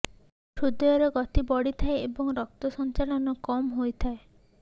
ହ୍ରୁଦୟର ଗତି ବଢ଼ିଥାଏ ଏବଂ ରକ୍ତ ସଞ୍ଚାଳନ କମ୍ ହୋଇଥାଏ